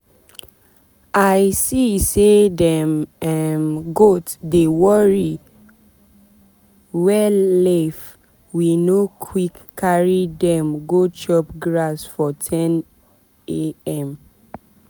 i see say dem um goat dey worry wellaif we no quick carry dem go chop grass for 10am